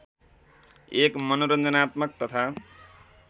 एक मनोरञ्जनात्मक तथा